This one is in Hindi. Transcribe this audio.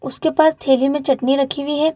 उसके पास थैली में चटनी रखी हुई है |